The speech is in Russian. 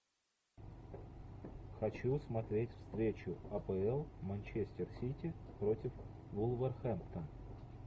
хочу смотреть встречу апл манчестер сити против вулверхэмптон